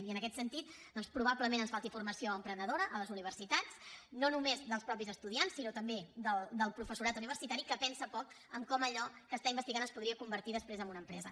i en aquest sentit doncs probablement ens falti formació emprenedora a les universitats no només dels mateixos estudiants sinó també del professorat universitari que pensa poc en com allò que està investigant es podria convertir després en una empresa